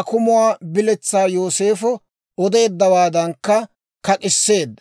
akumuwaa biletsaa Yooseefo odeeddawaadankka kak'isseedda.